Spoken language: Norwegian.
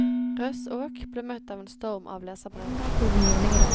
Røssaak ble møtt av en storm av leserbrev.